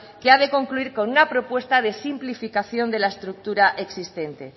que ha de concluir con una propuesta de simplificación de la estructura existente